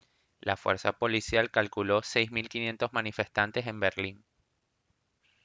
la fuerza policial calculó 6500 manifestantes en berlín